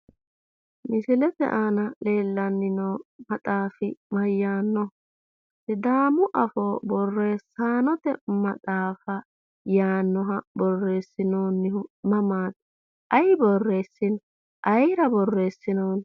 Misilete aana leellanni no maxaafi mayyaannoho? Sidaamu afoo borreessanote maxaafa yaannoha borreessinoonnihu mamaati? Ayi borreessino? Ayeera boorreessinoonni?